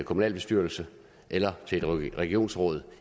kommunalbestyrelse eller i et regionsråd